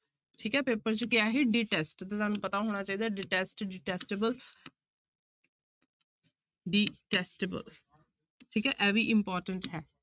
ਠੀਕ ਹੈ ਪੇਪਰ ਚ ਕੀ ਆਇਆ ਸੀ detest ਤੇ ਤੁਹਾਨੂੰ ਪਤਾ ਹੋਣਾ ਚਾਹੀਦਾ detest detestable detestable ਠੀਕ ਹੈ ਇਹ ਵੀ important ਹੈ